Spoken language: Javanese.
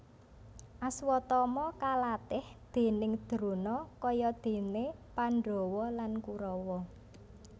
Aswatama kalatih déning Drona kaya dene Pandhawa lan Kurawa